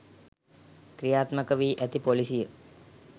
ක්‍රියාත්මක වී ඇති ‍පොලිසිය